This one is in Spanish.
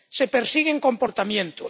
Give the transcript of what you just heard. Se persiguen comportamientos.